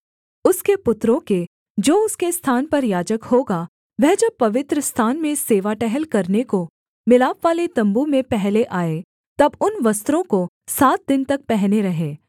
उसके पुत्रों के जो उसके स्थान पर याजक होगा वह जब पवित्रस्थान में सेवा टहल करने को मिलापवाले तम्बू में पहले आए तब उन वस्त्रों को सात दिन तक पहने रहें